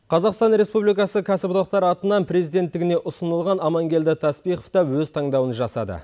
қазақстан республикасы кәсіподақтар атынан президенттігіне ұсынылған амангелді тәспихов та өз таңдауын жасады